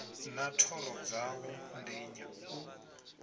na thoro dzawo ndenya u